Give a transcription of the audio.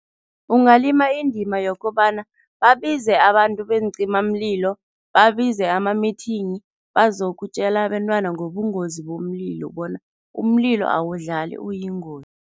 Ungalima indima yokobana babize abantu beencimamlilo, babize ama-meeting, bazokutjela abentwana ngobungozi bomlilo bona umlilo awudlali, uyingozi.